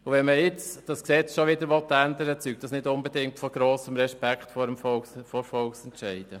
Wenn man dieses Gesetz jetzt schon wieder ändern will, zeugt dies nicht unbedingt von grossem Respekt vor Volksentscheiden.